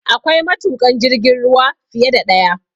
Akwai matuƙan jirgin ruwa fiye da ɗaya